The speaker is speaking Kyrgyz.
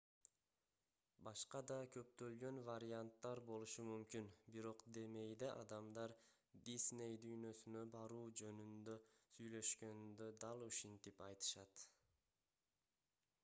башка да көптөгөн варианттар болушу мүмкүн бирок демейде адамдар дисней дүйнөсүнө баруу жөнүндө сүйлөшкөндө дал ушинтип айтышат